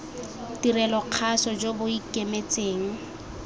tirelo kgaso jo bo ikemetseng